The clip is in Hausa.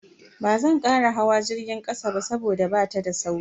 Bazan kara hawa jirgin kasa ba saboda bata da sauri.